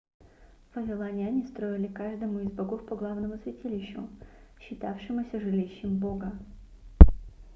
вавилоняне строили каждому из богов по главному святилищу считавшемуся жилищем бога